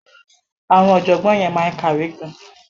Àwọn ọ̀jọ̀gbọ́n yẹn máa ń kàwé gan-an.